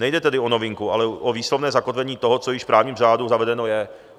Nejde tedy o novinku, ale o výslovné zakotvení toho, co již v právním řádu zavedeno je.